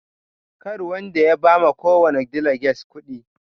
Karwanda ya ba ma kowani daliges kuɗi